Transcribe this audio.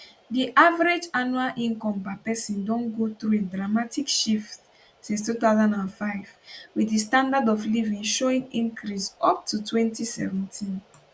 di average annual income per person don go through a dramatic shift since 2005 wit di standard of living showing increase up to 2017